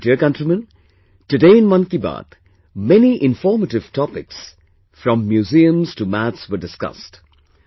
My dear countrymen, today in 'Mann Ki Baat', many informative topics from museum to maths were discussed